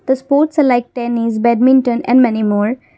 the sports select tennis badminton and many more.